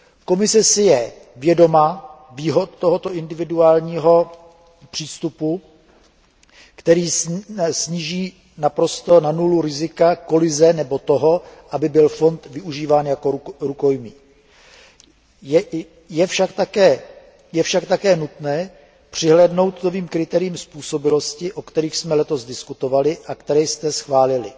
Komise si je dobře vědoma výhod tohoto individuálního přístupu, který sníží naprosto na nulu rizika kolize nebo toho, aby byl fond využíván jako rukojmí. Je však také nutné přihlédnout k novým kritériím způsobilosti, o kterých jsme letos diskutovali a která jste schválili.